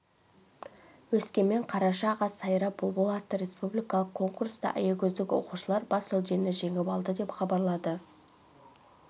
өскемен қараша қаз сайра бұлбұл атты республикалық конкурста аягөздік оқушылар бас жүлдені жеңіп алды деп хабарлады